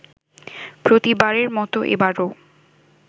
প্রতিবারের মতো এবারেও